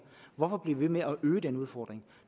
hvorfor bliver vi ved med at øge den udfordring